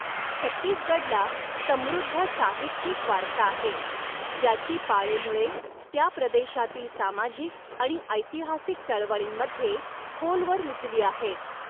छत्तीसगडला समृद्ध साहित्यिक वारसा आहे, ज्याची पाळेमुळे त्या प्रदेशातील सामाजिक आणि ऐतिहासिक चळवळींमध्ये खोलवर रुजली आहेत.